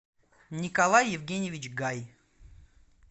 николай евгеньевич гай